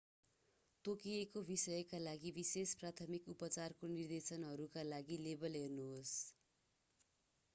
तोकिएको विषका लागि विशेष प्राथमिक उपचारको निर्देशनहरूका लागि लेबल हेर्नुहोस्‌।